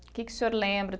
Que que o senhor lembra?